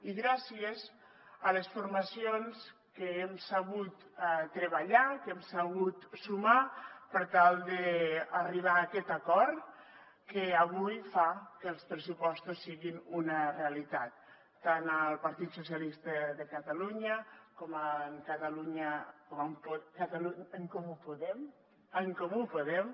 i gràcies a les formacions que hem sabut treballar que hem sabut sumar per tal d’arribar a aquest acord que avui fa que els pressupostos siguin una realitat tant el partit socialistes de catalunya com en comú podem